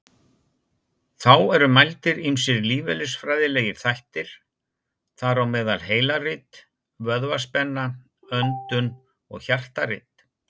Þá eru mældir ýmsir lífeðlisfræðilegir þættir, þar á meðal heilarit, vöðvaspenna, öndun og hjartarit.